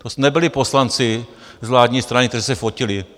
To nebyli poslanci z vládní strany, kteří se fotili.